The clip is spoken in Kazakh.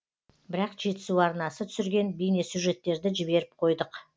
бірақ жетісу арнасы түсірген бейнесюжеттерді жіберіп қойдық